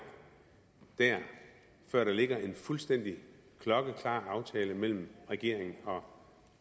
der før der ligger en fuldstændig klokkeklar aftale mellem regeringen og